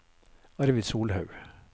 Arvid Solhaug